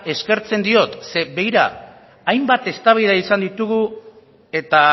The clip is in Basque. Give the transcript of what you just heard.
eskertze diot zeren begira hainbat eztabaidak izan ditugu eta